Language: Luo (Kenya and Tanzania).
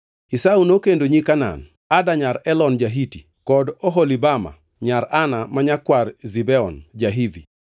Esau nokendo nyi Kanaan: Ada nyar Elon ja-Hiti, kod Oholibama nyar Ana ma nyakwar Zibeon ja-Hivi,